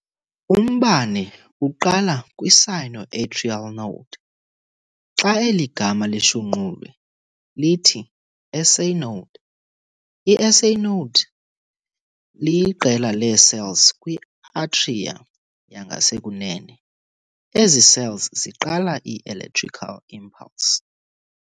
Umbane uqala kwi-sino-atrial node. Xa eli gama lishunqulwe lithi-SA Node. I-SA Node liqela lee-cells kwi-atria yangasekunene. ezi cells ziqala i-electrical impulse.